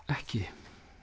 ekki